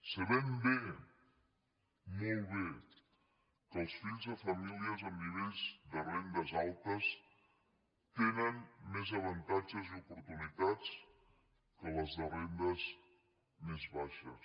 sabem bé molt bé que els fills de famílies amb nivells de rendes altes tenen més avantatges i oportunitats que els de rendes més baixes